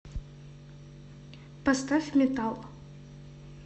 поставь метал